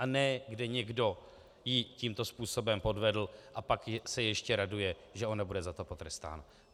A ne kde někdo ji tímto způsobem podvedl, a pak se ještě raduje, že ona nebude za to potrestána.